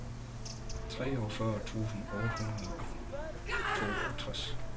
treogfyrre tusind otte hundrede og toogtres